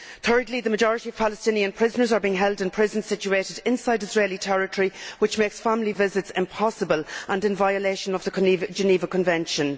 Thirdly, the majority of Palestinian prisoners are being held in prisons situated inside Israeli territory, which makes family visits impossible and is a violation of the Geneva Convention.